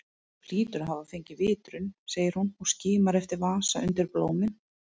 Þú hlýtur að hafa fengið vitrun, segir hún og skimar eftir vasa undir blómin.